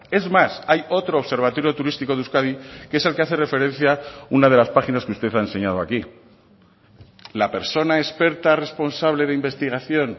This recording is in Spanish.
es más hay otro observatorio turístico de euskadi que es el que hace referencia una de las páginas que usted ha enseñado aquí la persona experta responsable de investigación